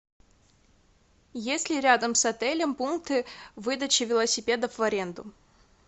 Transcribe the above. есть ли рядом с отелем пункты выдачи велосипедов в аренду